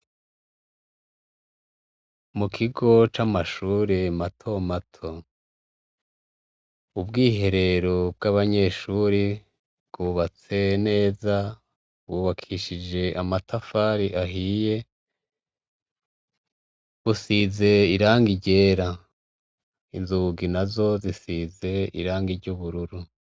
Mu kigo c'amashure matomato. Ubwiherero bw'abanyeshure bwubatse neza, bwubakishije amatafari ahiye, busize irangi ryera. Inzugi nazo zisize irangi ry'ubururu.